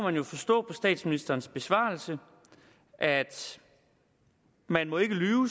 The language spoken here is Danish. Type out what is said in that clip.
vi jo forstå på statsministerens besvarelse at man